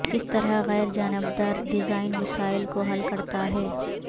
کس طرح غیر جانبدار ڈیزائن مسائل کو حل کرتا ہے